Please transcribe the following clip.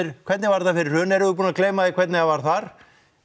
hvernig var þetta fyrir hrun erum við búin að gleyma því hvernig það var þar